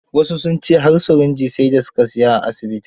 Wasu sun ce har sirinji sai da su ka sialya a asibitin.